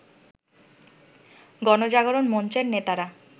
গণজাগরণ মঞ্চের নেতারা